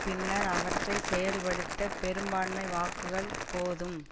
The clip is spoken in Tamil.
பின்னர் அவற்றை செயல்படுத்த பெரும்பான்மை வாக்குகள் போதும்